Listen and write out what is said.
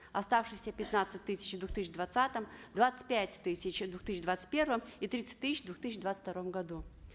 оставшиеся пятнадцать тысяч в две тысячи двадцатом двадцать пять тысяч в две тысячи двадцать первом и тридцать тысяч в две тысячи двадцать втором году